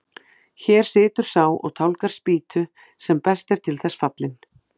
Hér situr sá og tálgar spýtu sem best er til þess fallinn.